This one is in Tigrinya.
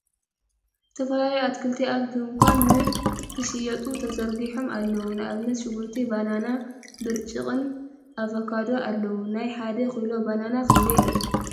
ዝተፈላለዩ ኣትክልቲ ኣብ ድንካን ን ክሽየጡ ተዘርጊሖም ኣለዉ ን ኣብነት ሽጉርቲ ፣ ባናና ፣ ብርጭቅ ን ኣቨካዶን ኣለዉ ። ናይ ሓደ ኪሎ ባናና ክንደይ እዩ ?